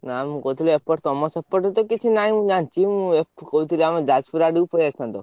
ନା ମୁଁ କହୁଥିଲି ଏପଟେ ତମ ସେପଟେ ତ କିଛି ନାହିଁ ମୁଁ ଜାଣିଚି। ମୁଁ କହୁଥିଲି ଆମ ଯାଜପୁର ଆଡକୁ ପଳେଇଆସିଥାନ୍ତେ।